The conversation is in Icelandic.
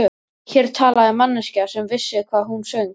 Hér talaði manneskja sem vissi hvað hún söng.